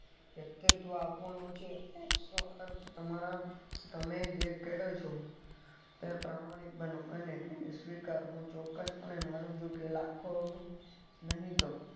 વ્યક્તિત્વ આપવાનું છે તમારા તમે જે કરો છો તે પ્રમાણે બનો અને સ્વીકાર તો ચોક્કસ પણે માનો લાખો નહી તો